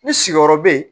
Ni sigiyɔrɔ bɛ yen